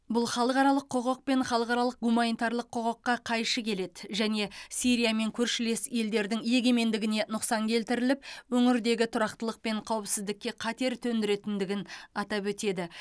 бұл халықаралық құқық пен халықаралық гуманитарлық құқыққа қайшы келеді және сирия мен көршілес елдердің егемендігіне нұқсан келтіріліп өңірдегі тұрақтылық пен қауіпсіздікке қатер төндіретіндігін атап өтеді